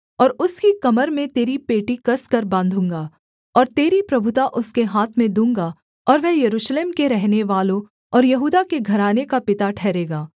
और उसकी कमर में तेरी पेटी कसकर बाँधूँगा और तेरी प्रभुता उसके हाथ में दूँगा और वह यरूशलेम के रहनेवालों और यहूदा के घराने का पिता ठहरेगा